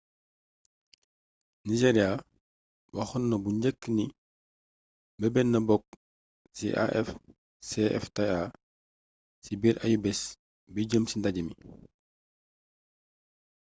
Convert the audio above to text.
nigeria waxoon na bu njëkk ni mebetna bokk ci afcfta ci biir ayubés bi jeem ci ndajémi